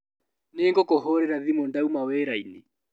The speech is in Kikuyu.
Nĩngũkũhũrĩra thimũ ndauma wĩrainĩ.